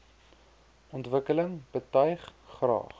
ontwikkeling betuig graag